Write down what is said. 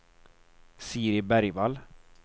Siri Bergvall